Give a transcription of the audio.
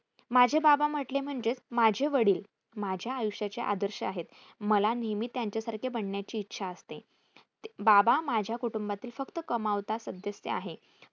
माझे बाबाम्हटले म्हणजेच माझे वडिल माझ्या आयुष्याचे आदर्श आहेत. मला नेहमी त्यांच्यासारखे बनण्याची इच्छा असते. बाबा माझ्या कुटूंबातील फक्त कमावता सदस्य आहे.